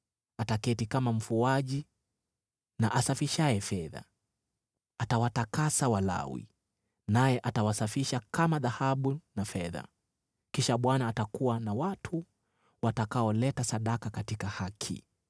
Ataketi kama mfuaji na asafishaye fedha. Atawatakasa Walawi, naye atawasafisha kama dhahabu na fedha. Kisha Bwana atakuwa na watu watakaoleta sadaka katika haki,